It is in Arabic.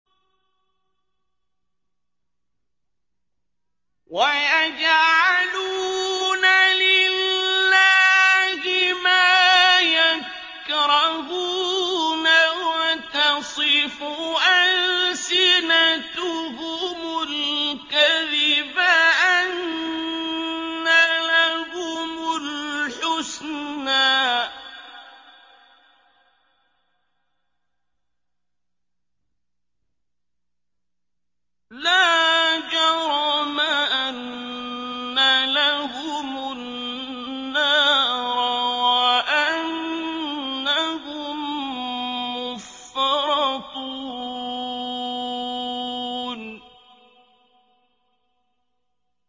وَيَجْعَلُونَ لِلَّهِ مَا يَكْرَهُونَ وَتَصِفُ أَلْسِنَتُهُمُ الْكَذِبَ أَنَّ لَهُمُ الْحُسْنَىٰ ۖ لَا جَرَمَ أَنَّ لَهُمُ النَّارَ وَأَنَّهُم مُّفْرَطُونَ